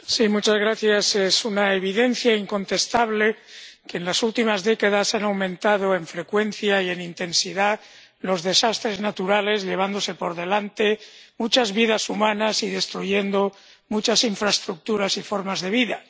Señor presidente, es una evidencia incontestable que en las últimas décadas han aumentado en frecuencia y en intensidad las catástrofes naturales, llevándose por delante muchas vidas humanas y destruyendo muchas infraestructuras y formas de vida.